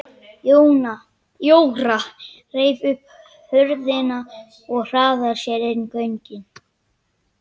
Jóra reif upp hurðina og hraðaði sér inn göngin.